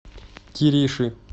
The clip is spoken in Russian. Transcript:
кириши